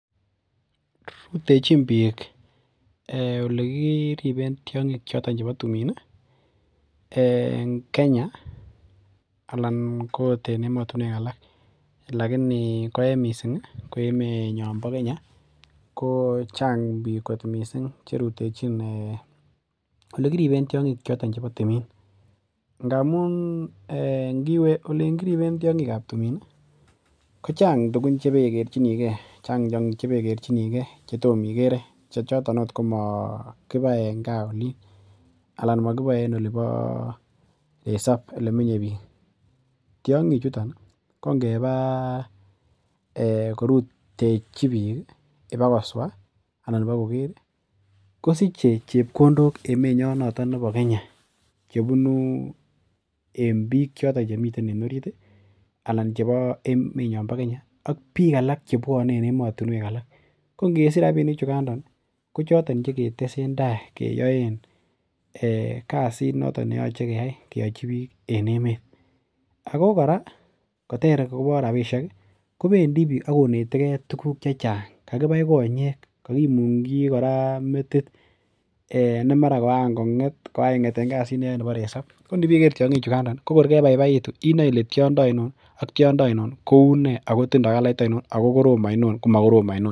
Rutechin biik olekiriben tiong'ik choton chebo timin ih en Kenya anan ko ot en emotinwek alak lakini ko en missing ih ko emenyon bo Kenya ko chang biik kot missing cherutechin olekiriben tiong'ik choton chebo timin ngamun niwe olin kiriben tiong'ik ab timin ih ko chang tugun chebekerchinigee chang tiong'ik chebekerchinigee chetom ikere chechoton ot komokibai en gaa olin ana mokiboe en olibo resop elemenye biik. Tiong'ik chuton ih kongeba korutechi biik ih iba koswa ana ibakoker ih kosiche chepkondok emenyon noton nebo Kenya chebunu en biik choton chemiten en orit ih anan chebo emenyon bo Kenya ak biik alak chebwone en emotinwek alak ko ngesich rapinik chukando ko choton cheketesen tai keyoen kasit noton neyoche keyai keyochi biik en emet ako kora koter akobo rapisiek ih kobendii biik akonetegee tuguk chechang, kakibai konyek kakimungyi kora metit ne mara koan kong'et koa ing'et neyoe nebo resop ko nibeker tiong'ik chukando ko kor kebaibaitu inoe ile tiondo oinon ak tiondo oinon kounee ako tindoo kalait oinon ako korom oinon komokorom oinon